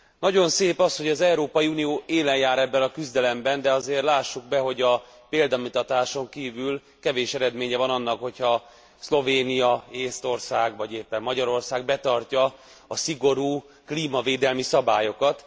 Nagyon szép az, hogy az Európai Unió élen jár ebben a küzdelemben, de azért lássuk be, hogy a példamutatáson kívül kevés eredménye van annak, hogy ha Szlovénia, Észtország vagy éppen Magyarország betartja a szigorú klímavédelmi szabályokat.